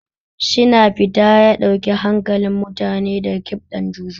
Shina Pita ya ɗauke hankalin mutane da ƙiɓɗan Juju.